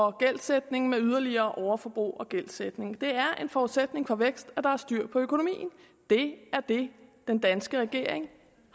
og gældsætning med yderligere overforbrug og gældsætning det er en forudsætning for vækst at der er styr på økonomien det er det den danske regering